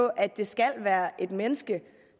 at det skal være et menneske